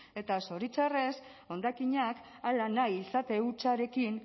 eta zoritxarrez hondakinak hala nahi izate hutsarekin